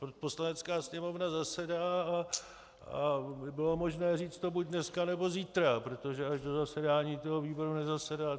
Poslanecká sněmovna zasedá a bylo možné to říct buď dneska, nebo zítra, protože až do zasedání toho výboru nezasedá.